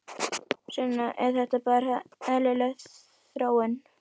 Sunna: Er þetta bara eðlileg þróun?